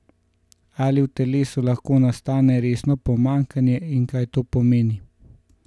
Ali v telesu lahko nastane resno pomanjkanje in kaj to pomeni?